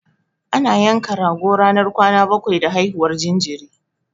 Ana yanka rago ranar kwana bakwai da haihuwar jinjiri.